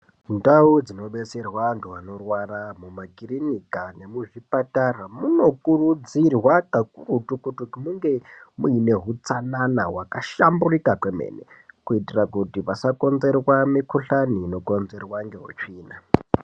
Ndau dzinobetserwa vantu vanorwara mumakirinika nemuzvipatara munokurudzirwa kakurutu kuti munge muine hutsanana hwakashamburika kwemene kuitira kuti pasakonzerwa mikuhlani inokonzerwa ngeutsvina.